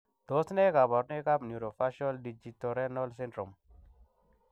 Tos nee koborunoikab Neurofaciodigitorenal syndrome?